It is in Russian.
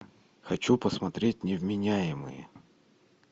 хочу посмотреть невменяемые